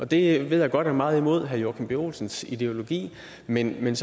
det ved jeg godt er meget imod herre joachim b olsens ideologi men det man